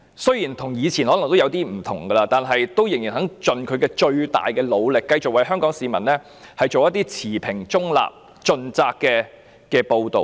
雖然今天跟以前可能已有點不同，但港台仍在盡其最大努力繼續為香港市民做一些持平、中立，盡責的報道。